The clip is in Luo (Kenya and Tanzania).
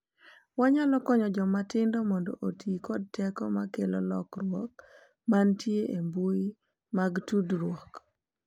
Wanyalo konyo joma tindo mondo oti kod teko ma kelo lokruok ma nitie e mbui mag tudruok